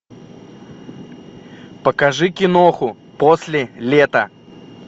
покажи киноху после лета